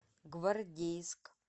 гвардейск